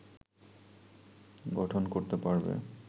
গঠন করতে পারবে